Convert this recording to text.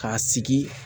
K'a sigi